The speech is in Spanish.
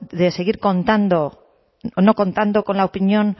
de seguir no contando con la opinión